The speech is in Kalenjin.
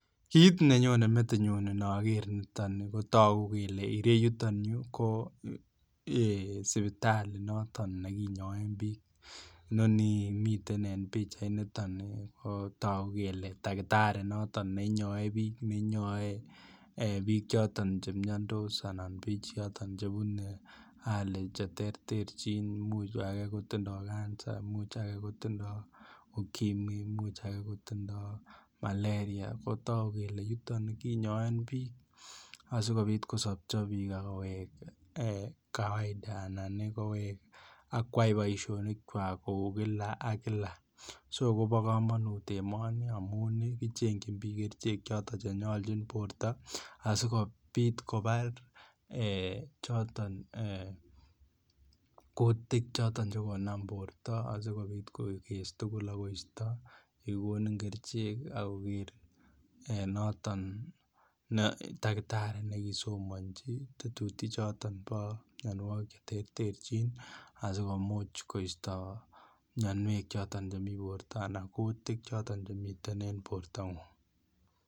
Kit nenyone metinyun inoker niton ko togu kele ireyuton yu kotogu kele sipitali noton nekinyoen bik inoni miten en pichainiton ko togu kele takitari noton ne inyoe bik ne inyoe bik choton Che miandos anan bik choton Che bune hali Che terterchin imuch age kotindoi Kansa Imuch age kotindoi ukimwi Imuch age kotindoi malaria ko togu kele yuton kinyoen bik asikobit kosopcho bik ak kowek kawaida anan kowek ak kwai boisionik kwak kou kila ak kila so kobo kamanut emoni amun kichengyin bik kerichek choton che nyolchin borto asikobit kobar choton kutik choton Che konam borto asikobit koges tugul ak koisto ye kigonin kerichek ak koisto noton takitari ne kisomonji tetutik choton bo mianwogik Che terterchin asi komuch koisto mianwek choton chemi borto anan kutik choton chemi en bortangung